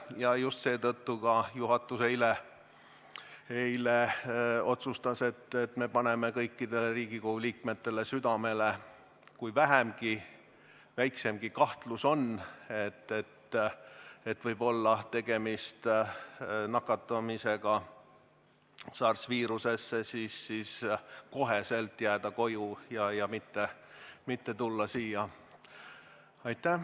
Ja just seetõttu juhatus eile otsustas, et me paneme kõigile Riigikogu liikmetele südamele: kui väikseimgi kahtlus on, et võib olla tegemist nakatumisega SARS-i viirusesse, siis kohe jääda koju ja mitte tulla siia.